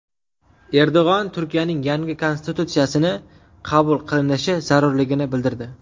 Erdo‘g‘on Turkiyaning yangi konstitutsiyasi qabul qilinishi zarurligini bildirdi.